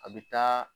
A bɛ taa